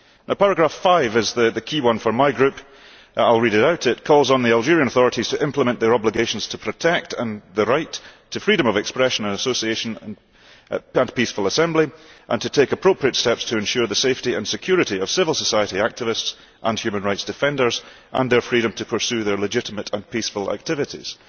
Paragraph 5 is the key one for my Group. I will read it out it calls on the Algerian authorities to implement their obligations to protect the right to freedom of expression, association and peaceful assembly, and to take appropriate steps to ensure the safety and security of civil society activists and human rights defenders and their freedom to pursue their legitimate and peaceful activities'.